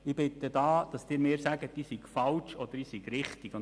Ich bitte Sie, mir zu sagen, ob ich damit falsch oder richtig liege.